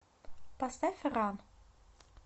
поставь ран